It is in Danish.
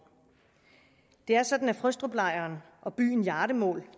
det er sådan at frøstruplejren og byen hjardemål